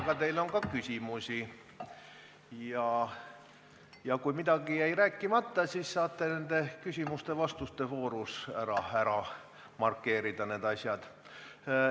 Aga teile on küsimusi ja kui midagi jäi rääkimata, siis saate küsimuste-vastuste voorus selle ära markeerida.